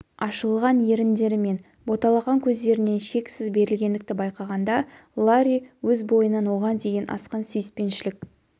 ашылған еріндері мен боталаған көздерінен шексіз берілгендікті байқағанда ларри өз бойынан оған деген асқан сүйіспеншілік